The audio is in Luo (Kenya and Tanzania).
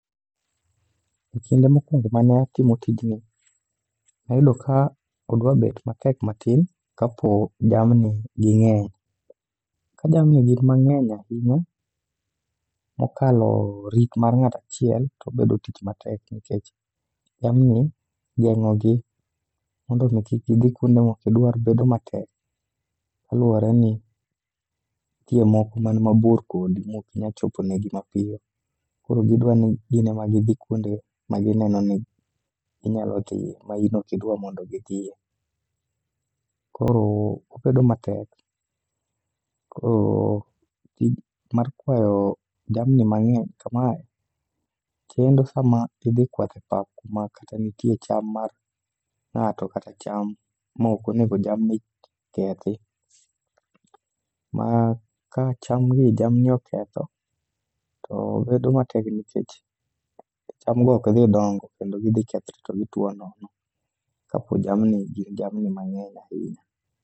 E kinde mokwongo mane watimo tijni, nwayudo ka odwabet matek matin kapo jamni ging'eny. Ka jamni gin mang'eny ahinya mokalo rit mar ng'atachiel tobedo tich matek nikech jamni geng'ogi mondo mi kik gidhi kuonde mokidwar bedo matek. Kaluwore ni, nitie moko man mabor kodi mokinya chopone gi mapiyo. Koro gidwani gin ema gidhi kuonde ma gineno ni ginyalo dhiye ma in okidwa ni gidhiye. Koro, obedo matek, koro tich mar kwayo jamni mang'eny kamae chendo sama idhi kwath e pap kuma kata nitie cham mar ng'ato kata cham ma okonego jamni kethi. Ma ka chamgi jamni oketho, to bedo matek nikech cham go ok dhi dongo kendo gidhi kethre to gitwo nono. Kapo jamni gin jamni mang'eny ahinya.